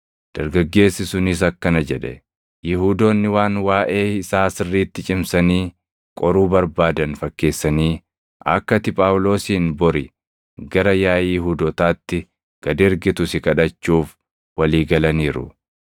Dargaggeessi sunis akkana jedhe; “Yihuudoonni waan waaʼee isaa sirriitti cimsanii qoruu barbaadan fakkeessanii akka ati Phaawulosin bori gara yaaʼii Yihuudootaatti gad ergitu si kadhachuuf walii galaniiru.